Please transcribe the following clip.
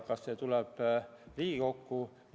Kas see tuleb ka Riigikokku?